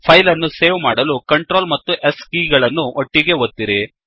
file ಅನ್ನು save ಮಾಡಲು control ಮತ್ತು S ಕೀ ಗಳನ್ನು ಒಟ್ಟಿಗೇ ಒತ್ತಿರಿ